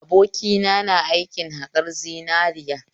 Abokina na aikin haƙar zinariya